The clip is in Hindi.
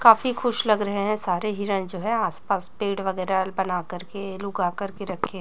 काफी खुश लग रहे हैं सारे हिरण जो है आसपास पेड़ वगैरह बना कर के लुगा कर के रखे--